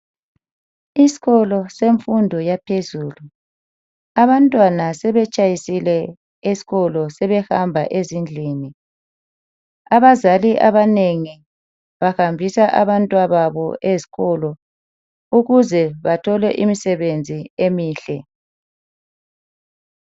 Isikolo semfundo yaphezulu. Abantwana sebetshayisile esikolo. Sebehamba ezindlini. Abazali abanengi bahambisa abantwababo eziikolo, ukuze bathole imisebenzi emihle.